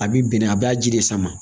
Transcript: A bi bɛnɛ a b'a ji de sama